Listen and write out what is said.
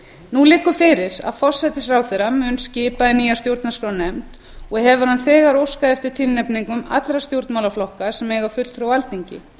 nú liggur fyrir að forsætisráðherra mun skipa í nýja stjórnarskrárnefnd og hefur hann þegar óskað eftir tilnefningum allra stjórnmálaflokka sem eiga fulltrúa á alþingi